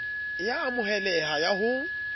e a amoheleha ya ho